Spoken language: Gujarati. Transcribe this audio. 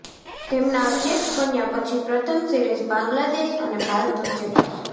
તેમના અધ્યક્ષ બન્યા પછી પ્રથમ સિરીઝ બાંગ્લાદેશ અને ભારત વચ્ચે થશે